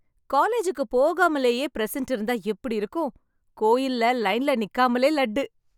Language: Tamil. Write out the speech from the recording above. காலேஜுக்கு போகாமலேயே பிரசெண்ட் இருந்தா எப்படி இருக்கும். கோயில்ல லைன்ல நிக்காமலே லட்டு